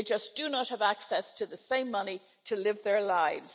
They just do not have access to the same money to live their lives.